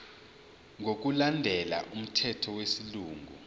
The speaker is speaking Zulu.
ngokulandela umthetho wesilungu